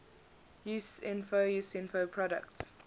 usinfo usinfo products